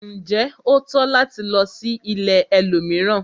Njé o tọ́ láti lò sí ìlẹ̀ ẹlòmíràn?